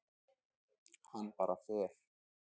Hann bara fer.